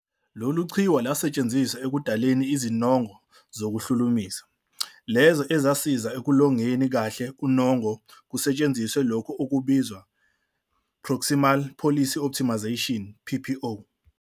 Lolu qhiwu lwasetshenziswa ekudaleni "izinongo zokuhlumulisa" lezo ezasiza ekulolongeni kahle unongo kusetshenziswa lokho okubizwa, "Proximal Policy Optimization PPO".